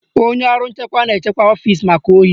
Onye ọrụ nchekwa na-echekwa ọfisi maka ohi